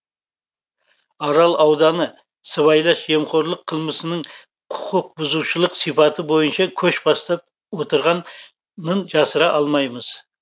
арал ауданы сыбайлас жемқорлық қылмысының құқықбұзушылық сипаты бойынша көш бастап отырғанын жасыра алмаймыз